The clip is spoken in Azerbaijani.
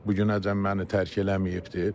Bugünəcən məni tərk eləməyibdir.